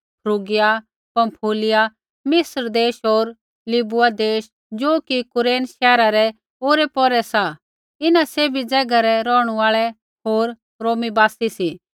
फ्रूगिया Pamphylia मिस्र देश होर लिबूआ देश ज़ो कि कुरेन शैहरा रै औरैपौरै सा इन्हां सैभी ज़ैगा रै रौहणु आल़ै होर रोमी बासी सी